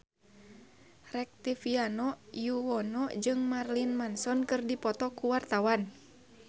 Rektivianto Yoewono jeung Marilyn Manson keur dipoto ku wartawan